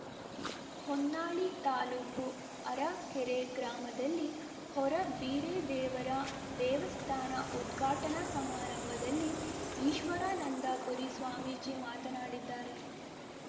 ಹೊನ್ನಾಳಿ ತಾಲೂಕು ಅರಕೆರೆ ಗ್ರಾಮದಲ್ಲಿ ಹೊರ ಬೀರೇದೇವರ ದೇವಸ್ಥಾನ ಉದ್ಘಾಟನಾ ಸಮಾರಂಭದಲ್ಲಿ ಈಶ್ವರಾನಂದಪುರಿ ಸ್ವಾಮೀಜಿ ಮಾತನಾಡಿದ್ದಾರೆ